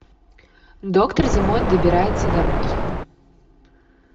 доктор зимой добирается домой